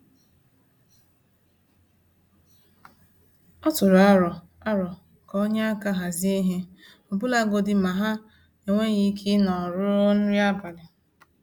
Ọ tụrụ aro aro ka o nye aka hazie ihe, ọbụlagodi ma ha enweghị ike ịnọ ruo nri abalị.